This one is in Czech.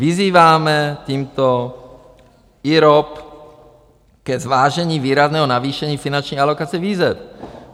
Vyzýváme tímto IROP ke zvážení výrazného navýšení finanční alokace výzev.